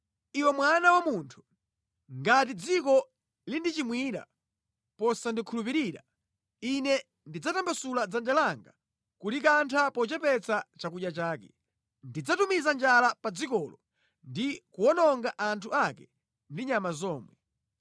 “Iwe mwana wa munthu, ngati dziko lindichimwira posandikhulupirira, Ine ndidzatambasula dzanja langa kulikantha pochepetsa chakudya chake. Ndidzatumiza njala pa dzikolo ndi kuwononga anthu ake ndi nyama zomwe.